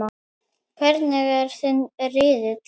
Hvernig er þinn riðill?